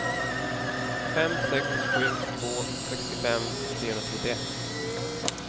fem sex sju två sextiofem trehundratrettioett